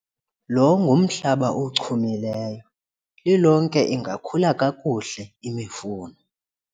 lo ngumhlaba ochumileyo, lilonke ingakhula kakuhle imifuno